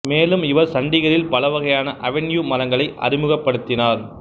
மேலும் இவர் சண்டிகரில் பல வகையான அவென்யூ மரங்களை அறிமுகப்படுத்தினார்